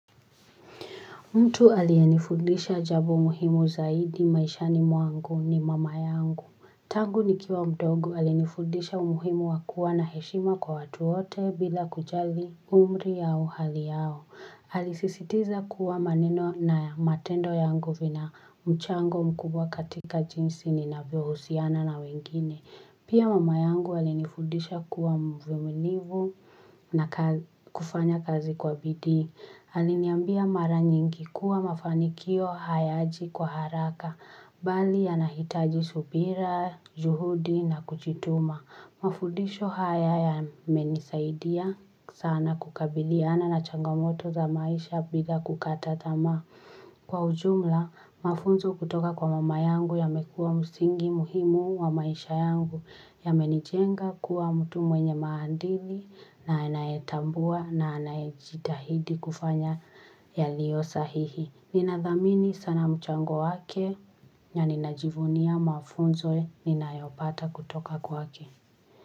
Mtu aliyenifundisha jambo muhimu zaidi maishani mwangu ni mama yangu. Tangu nikiwa mdogo alinifundisha umuhimu wa kuwa na heshima kwa watu wote bila kujali umri yao hali yao. Alisisitiza kuwa maneno na matendo yangu vina mchango mkubwa katika jinsi ninavyohusiana na wengine. Pia mm yangu alinifundisha kuwa mvumilivu na kufanya kazi kwa bidii. Aliniambia mara nyingi kuwa mafanikio hayaji kwa haraka, bali yanahitaji subira, juhudi na kujituma. Mafudisho haya yamenisaidia sana kukabiliana na changamoto za maisha bila kukata tamaa. Kwa ujumla, mafunzo kutoka kwa mama yangu yamekua msingi muhimu wa maisha yangu yamenijenga kuwa mtu mwenye maandili na anayetambua na anajitahidi kufanya yaliyo sahihi. Ninadhamini sana mchango wake na ninajivunia mafunzo ninayopata kutoka kwake.